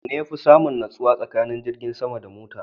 Wanne yafi samun nutsuwa tsakanin jirgin sama da mota?